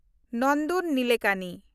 ᱱᱚᱱᱫᱚᱱ ᱱᱤᱞᱮᱠᱟᱱᱤ